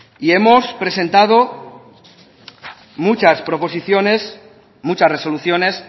y hemos presentado muchas proposiciones muchas resoluciones